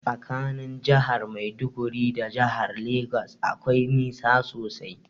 Tsakanin jahar maiduguri da jahar legas akwai nisa sosai.